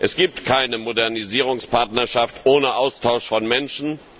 Es gibt keine Modernisierungspartnerschaft ohne Austausch von Menschen.